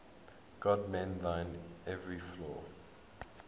god mend thine every flaw